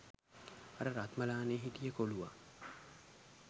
අර රත්මලානෙ හිටිය කොලුවා